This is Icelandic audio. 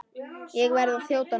Ég verð að þjóta núna.